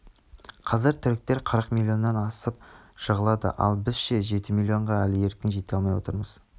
қазір түріктер қырық миллионнан асып жығылады ал біз ше жеті миллионға әлі еркін жете алмай отырмыз